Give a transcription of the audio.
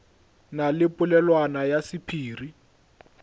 na le polelwana ya sephiri